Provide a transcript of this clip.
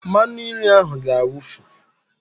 Mmanụnri ahụ ga-awufu